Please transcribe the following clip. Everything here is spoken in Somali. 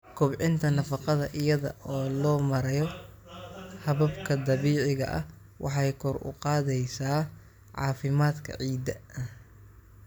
Kobcinta nafaqada iyada oo loo marayo hababka dabiiciga ah waxay kor u qaadaysaa caafimaadka ciidda.